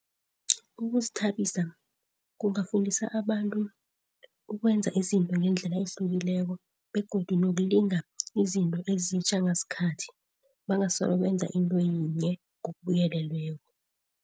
Ukuzithabisa kungafundisa abantu ukwenza izinto ngendlela ehlukileko, begodu nokulinga izinto ezitjha ngasikhathi. Bangasolo benza into yinye ngokubuyelelweko.